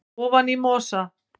ofan í mosa